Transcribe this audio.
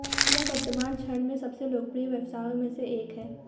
यह वर्तमान क्षण में सबसे लोकप्रिय व्यवसायों में से एक है